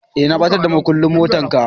eh na batar da mukullin motar ka.